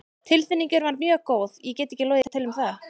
Tilfinningin var mjög góð, ég get ekki logið til um það.